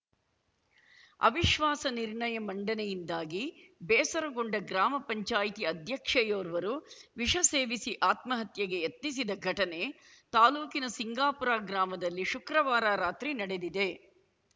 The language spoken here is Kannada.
ಅವಿಶ್ವಾಸ ನಿರ್ಣಯ ಮಂಡನೆಯಿಂದಾಗಿ ಬೇಸರಗೊಂಡ ಗ್ರಾಮ ಪಂಚಾಯಿತಿ ಅಧ್ಯಕ್ಷೆಯೋರ್ವರು ವಿಷ ಸೇವಿಸಿ ಆತ್ಮಹತ್ಯೆಗೆ ಯತ್ನಿಸಿದ ಘಟನೆ ತಾಲೂಕಿನ ಸಿಂಗಾಪುರ ಗ್ರಾಮದಲ್ಲಿ ಶುಕ್ರವಾರ ರಾತ್ರಿ ನಡೆದಿದೆ